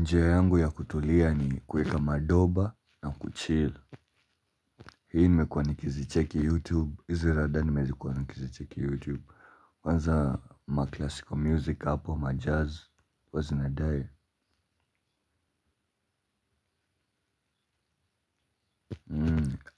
Njia yangu ya kutulia ni kuweka madoba na kuchill. Hii nimekuwa nikizicheki youtube, hizi rada nimezikuwa nikizicheki youtube kwanza maklasiko music hapo, majaz, huwa zinadai